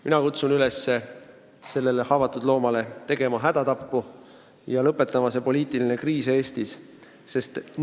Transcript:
Mina kutsun üles tegema sellele haavatud loomale hädatapu ja lõpetama selle poliitilise kriisi Eestis!